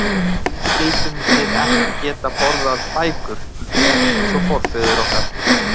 Því skyldum við ekki geta borðað bækur, rétt eins og forfeður okkar?